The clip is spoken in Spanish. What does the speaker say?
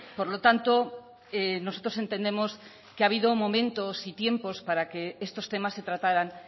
por lo tanto nosotros entendemos que ha habido momentos y tiempos para que estos temas se trataran